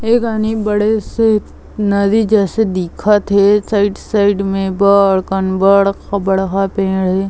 ए कानि बड़े से नदी जैसे दिखत हे साइड - साइड में बड़ कन बड़ खबड़हा पेड़ ए--